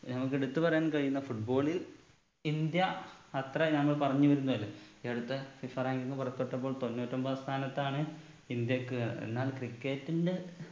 നമ്മുക്ക് എടുത്ത് പറയാൻ കഴിയുന്ന football ൽ ഇന്ത്യ അത്രയാന്ന് പറഞ്ഞു വരുന്നതല്ലെ ഈ അടുത്ത ഇസ്രാഈൽന്ന് പുറപ്പെട്ടപ്പോൾ തൊണ്ണൂറ്റി ഒമ്പതാം സ്ഥാനത്താണ് ഇന്ത്യക്ക് എന്നാൽ cricket ന്റെ